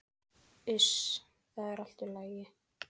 Iss, það er allt í lagi.